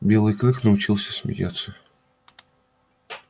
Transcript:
белый клык научился смеяться